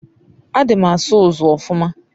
adi m n'aso usu ofuma